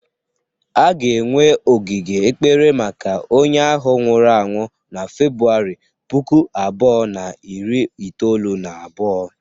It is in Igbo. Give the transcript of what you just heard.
A ga-enwe ogige ekpere maka onye ahụ nwụrụ anwụ na February puku abuo na iri itoolu na abuo.